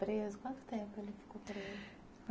Quanto tempo ele ficou preso?